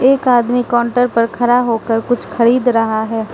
एक आदमी काउंटर पर खरा हो कर कुछ खरीद रहा है।